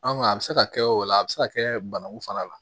An a bɛ se ka kɛ o la a bɛ se ka kɛ banaku fana la